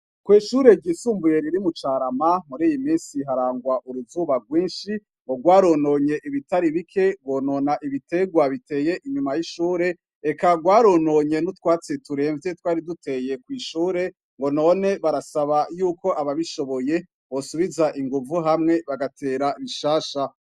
Kwishure ryi sumbuye ryo mu carama mur'iyiminsi hari uruzuba rwinshi rwarononye ibitari bike, rwonona ibiterwa biteye inyuma yishure reka rwarononye eka nutwatsi turemvye twari duteye kwishure none barasaba ababishoboye ko bosubiza inguvu hamwe bagatera bishasha.